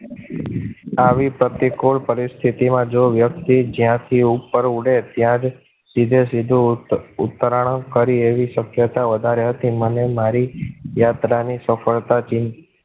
આવી પ્રતિ કૂળ પરિસ્થિતિ માં જો વ્યક્તિ જ્યાંથી ઉપર ઉડે. સીધે સીધું ઉતરાણ કરી એવી શક્યતા વધારે હતી. મને મારી યાત્રા ની સફળતા